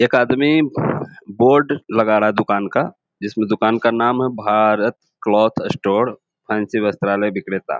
एक आदमी बोर्ड लगा रहा है दुकान का जिसमें दुकान का नाम है भारत क्लॉथ स्टोर फैंसी वस्त्रालय विक्रेता।